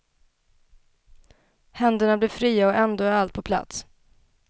Händerna blir fria och ändå är allt på plats.